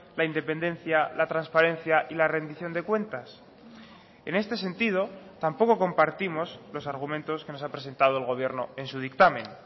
la independencia la transparencia y la rendición de cuentas en este sentido tampoco compartimos los argumentos que nos ha presentado el gobierno en su dictamen